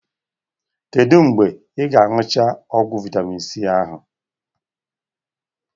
Kedu mgbe ị ga-añụcha ọgwụ vitamin c ahụ?